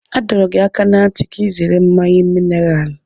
A dọrọ gị aka ná ntị ka ị zere mmanya mineralu.